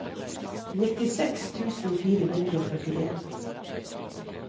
nittiseks tusen fire hundre og førtien